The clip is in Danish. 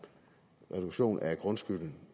en reduktion af grundskylden